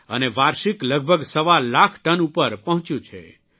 અને વાર્ષિક લગભગ સવા લાખ ટન ઉપર પહોંચ્યું છે